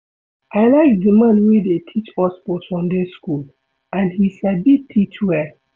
I like the man wey dey teach us for Sunday school and he sabi teach well